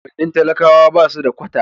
unguwannin talakawa basu da kwata